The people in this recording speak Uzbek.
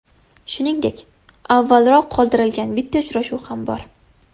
Shuningdek, avvalroq qoldirilgan bitta uchrashuv ham bor.